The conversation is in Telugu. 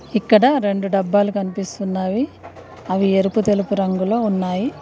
ఇక్కడ రెండు డబ్బాలు కనిపిస్తున్నవి అవి ఎరుపు తెలుపు రంగులో ఉన్నాయి.